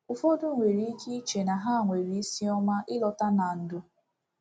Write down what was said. Ụfọdụ nwere ike iche na ha nwere isiọma ịlọta na ndụ.